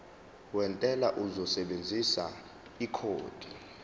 wentela uzosebenzisa ikhodi